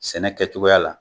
Sɛnɛ kɛcogoya la.